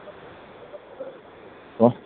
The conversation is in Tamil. hello